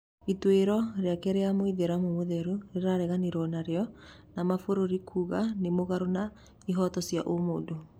Ituĩro rĩake rĩa mũithĩramu mũtheru rĩrareganirwo narĩo nĩ mabũrũri kuga nĩ mũgarũ na ihooto cia ũmũndũ